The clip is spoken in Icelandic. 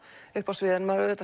uppi á sviðinu maður